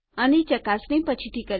હું આની ચકાસણી પછીથી કરીશ